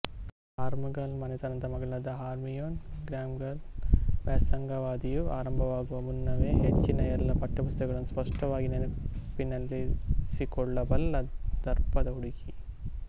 ಆಲ್ಮುಗಲ್ ಮನೆತನದ ಮಗಳಾದ Hermione Granger ವ್ಯಾಸಂಗಾವಧಿಯು ಆರಂಭವಾಗುವ ಮುನ್ನವೇ ಹೆಚ್ಚಿನ ಎಲ್ಲಾ ಪಠ್ಯಪುಸ್ತಕಗಳನ್ನು ಸ್ಪಷ್ಟವಾಗಿ ನೆನಪಿನಲ್ಲಿರಿಸಿಕೊಳ್ಳಬಲ್ಲ ದರ್ಪದ ಹುಡುಗಿ